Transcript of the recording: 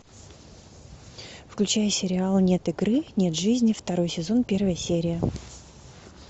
включай сериал нет игры нет жизни второй сезон первая серия